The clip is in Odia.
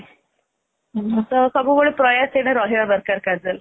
ତ ସବୁବେଳେ ପ୍ରୟାସ ଏଇଟା ରହିବା ଦରକାର casually